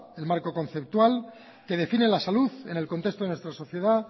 el marco conceptual que define la salud en el contexto de nuestra sociedad